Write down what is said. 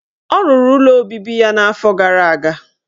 Ọ rụrụ ụlọ obibi ya afọ gara aga.